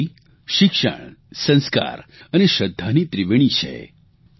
આ વારી શિક્ષણ સંસ્કાર અને શ્રદ્ધાની ત્રિવેણી છે